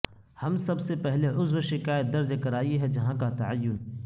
ہم سب سے پہلے عضو شکایت درج کرائی ہے جہاں کا تعین